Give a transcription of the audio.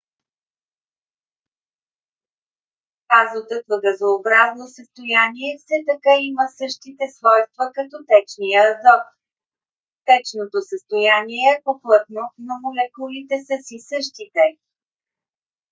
азотът в газообразно състояние все така има същите свойства като течния азот. течното състояние е по - плътно но молекулите са си същите